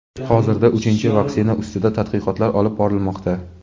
Hozirda uchinchi vaksina ustida tadqiqotlar olib borilmoqda.